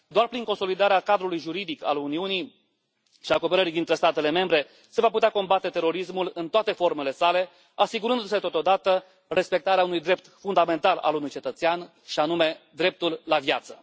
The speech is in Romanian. Doar prin consolidarea cadrului juridic al Uniunii și a cooperării dintre statele membre se va putea combate terorismul în toate formele sale, asigurându se, totodată, respectarea unui drept fundamental al unui cetățean și anume dreptul la viață.